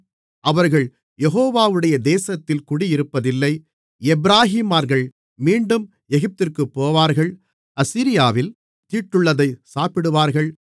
அவர்கள் யெகோவாவுடைய தேசத்தில் குடியிருப்பதில்லை எப்பிராயீமர்கள் மீண்டும் எகிப்திற்குப் போவார்கள் அசீரியாவில் தீட்டுள்ளதைச் சாப்பிடுவார்கள்